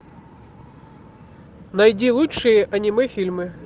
найди лучшие аниме фильмы